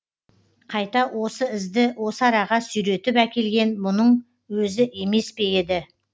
қайта осы ізді осы араға сүйретіп әкелген бұның өзі емес пе еді